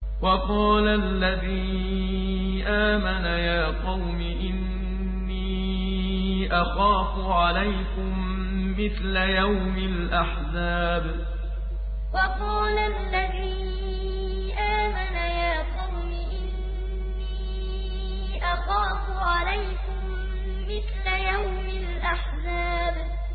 وَقَالَ الَّذِي آمَنَ يَا قَوْمِ إِنِّي أَخَافُ عَلَيْكُم مِّثْلَ يَوْمِ الْأَحْزَابِ وَقَالَ الَّذِي آمَنَ يَا قَوْمِ إِنِّي أَخَافُ عَلَيْكُم مِّثْلَ يَوْمِ الْأَحْزَابِ